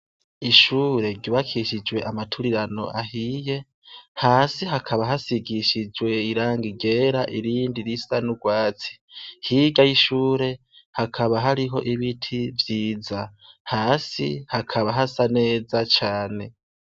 Ishure ryibakishijwe amaturirano ahiye hasi hakaba hasigishijwe iranga igera irindi risa n'urwatsi higa y'ishure hakaba hariho ibiti vyiza hasi hakaba hasa neza cane.